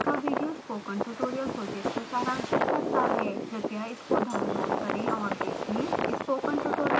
निम्न लिंक का video spoken tutorial project को सारांशित करता है